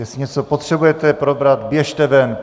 Jestli něco potřebujete probrat, běžte ven!